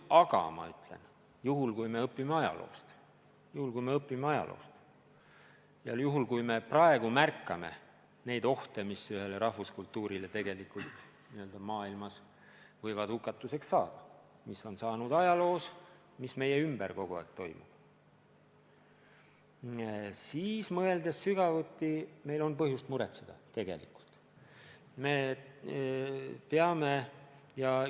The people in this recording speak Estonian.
Aga ma ütlen, et juhul, kui me õpime ajaloost, ja juhul, kui me märkame neid ohte, mis ühele rahvuskultuurile maailmas võivad hukatuseks saada – me teame, mis on juhtunud ajaloos ja mis meie ümber kogu aeg toimub –, siis, kui mõelda sügavuti, me saame aru, et meil on tegelikult põhjust muretseda.